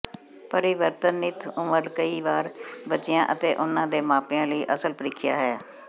ਪਰਿਵਰਤਨਿਤ ਉਮਰ ਕਈ ਵਾਰ ਬੱਚਿਆਂ ਅਤੇ ਉਨ੍ਹਾਂ ਦੇ ਮਾਪਿਆਂ ਲਈ ਅਸਲ ਪ੍ਰੀਖਿਆ ਹੈ